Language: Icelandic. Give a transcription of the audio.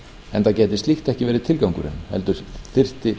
enda gæti slíkt ekki verið tilgangurinn heldur þyrfti